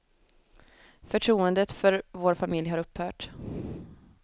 Förtroendet för vår familj har upphört.